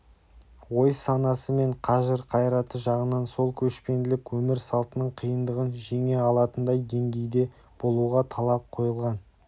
ой-санасы мен қажыр-қайраты жағынан сол көшпенділік өмір салтының қиындығын жеңе алатындай деңгейде болуға талап қойылған